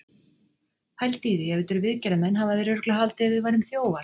Pældu í því. ef þetta eru viðgerðarmenn hafa þeir örugglega haldið að við værum þjófar!